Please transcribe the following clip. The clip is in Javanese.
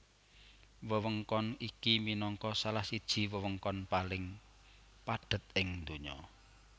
Wewengkon iki minangka salah siji wewengkon paling padhet ing donya